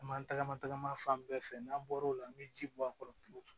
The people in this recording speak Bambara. An b'an tagama tagama fan bɛɛ fɛ n'an bɔr'o la n bɛ ji bɔ a kɔrɔ pewu